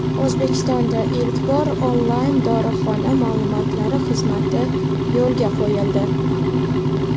O‘zbekistonda ilk bor onlayn dorixona ma’lumotlari xizmati yo‘lga qo‘yildi!.